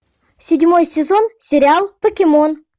седьмой сезон сериал покемон